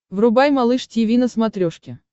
врубай малыш тиви на смотрешке